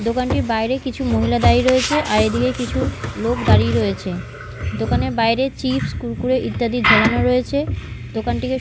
দোকানটির বাইরে কিছু মহিলা দাঁড়িয়ে রয়েছে আর এইদিকে কিছু লোক দাঁড়িয়ে রয়েছে দোকানের বাইরে চিপস কুরকুরে ইত্যাদি ঝোলানো রয়েছে দোকানটিকে--